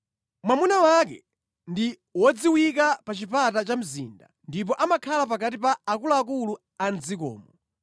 Mwamuna wake ndi wodziwika pa chipata cha mzinda, ndipo amakhala pakati pa akuluakulu a mʼdzikomo.